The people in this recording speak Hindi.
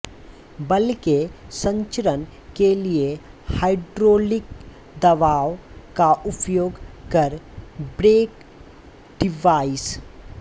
बल के संचरण के लिए हाइड्रोलिक दबाव का उपयोग कर ब्रेक डिवाइस